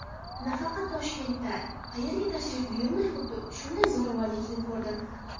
Nafaqat Toshkentda, qayerga tashrif buyurmay xuddi shunday farovonlikni ko‘rdim.